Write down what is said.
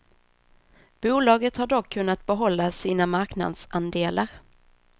Bolaget har dock kunnat behålla sina marknadsandelar.